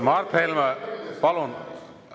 Mart Helme, palun!